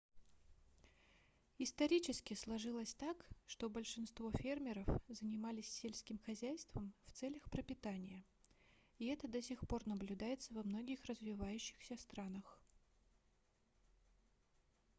исторически сложилось так что большинство фермеров занимались сельским хозяйством в целях пропитания и это до сих пор наблюдается во многих развивающихся странах